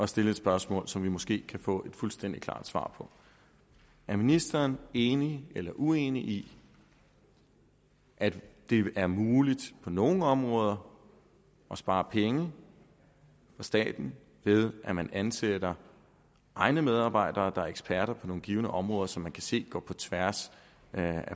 stille et spørgsmål som vi måske kan få et fuldstændig klart svar på er ministeren enig eller uenig i at det er muligt på nogle områder at spare penge i staten ved at man ansætter egne medarbejdere der er eksperter på nogle givne områder som man kan se går på tværs af